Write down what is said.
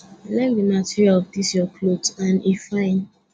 i like the material of dis your cloth and e fine